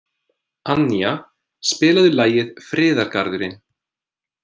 Annía, spilaðu lagið „Friðargarðurinn“.